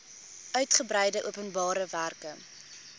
uigebreide openbare werke